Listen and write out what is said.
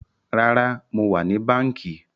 Rárá, mo wà ní báńkì